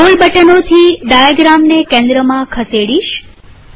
હું સ્ક્રોલ બટનોથી ડાયાગ્રામને કેન્દ્રમાં ખસેડીશ